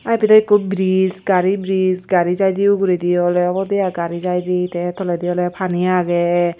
Aa ibedo ekko bridge gari bridge gari jaide uguredi ole obode aai gari jaide te tolendi ole paani age.